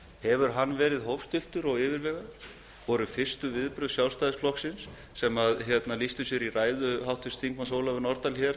sá málflutningur verið hófstilltur og yfirvegaður einkenndust fyrstu viðbrögð sjálfstæðisflokksins í ræðu háttvirts þingmanns ólafar nordal hér